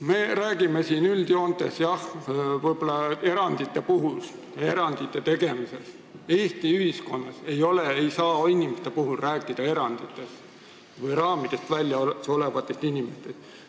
Me räägime siin üldjoontes erandite tegemisest, aga Eesti ühiskonnas ei saa inimeste puhul rääkida eranditest või neist, kes on raamidest väljas.